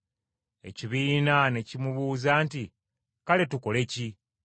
Ekibiina ne kimumubuuza nti, “Kale tukole ki?”